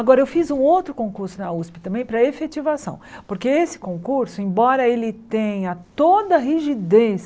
Agora eu fiz um outro concurso na Usp também para efetivação, porque esse concurso, embora ele tenha toda a rigidez,